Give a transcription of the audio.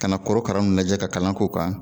Kana korokara nun lajɛ ka kalan k'o kan